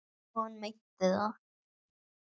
Og hann meinti það.